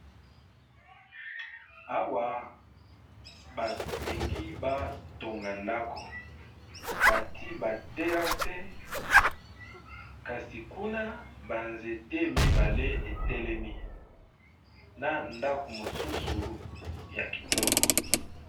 Awa balingi batonga ndako bati baterase kasi kuna banzete mibale etelemi na ndako mosusu ya kitoko